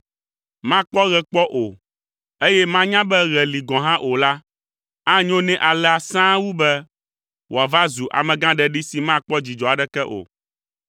makpɔ ɣe kpɔ o, eye manya be ɣe li gɔ̃ hã o la, anyo nɛ alea sãa wu be wòava zu amegãɖeɖi si makpɔ dzidzɔ aɖeke o.